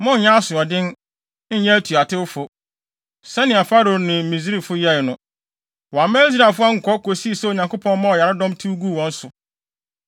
Monnyɛ asoɔden, nnyɛ atuatewfo, sɛnea Farao ne Misraimfo yɛe no. Wɔamma Israelfo ankɔ kosii sɛ Onyankopɔn maa ɔyaredɔm tew guu wɔn so.